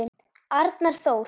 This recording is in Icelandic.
Arnar Þór.